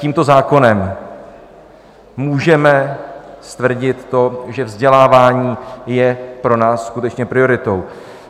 Tímto zákonem můžeme stvrdit to, že vzdělávání je pro nás skutečně prioritou.